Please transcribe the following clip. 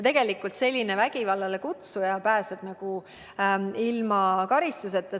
Ja vägivallale kutsuja pääsebki karistuseta.